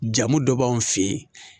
Jamu dɔ b'anw fɛ yen